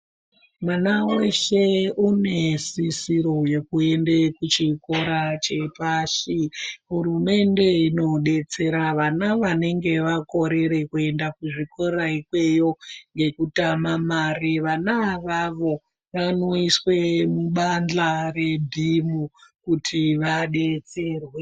Mwana weshe unesisiro yekuenda kuchikora chepashi. Hurumende inodetsera vana vanenge vakorere kuenda kuzvikora ikweyo ngekutama mari vana ivavo vanoiswa mubanhla rebhimu. Kuti vadetserwe.